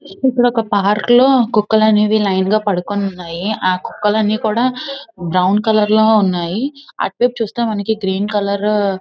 ఇక్కడ ఒక పార్క్ లో కుక్కలు అనేవి ఒక లైన్ గా పాడుకొనేనీవునేయ్యి. ఆ కుక్కలు అన్ని కూడా బ్రౌన్ కలర్ లో ఉనాయి. అటు వైపు చూస్తే మనకు గ్రీన్ కలర్ --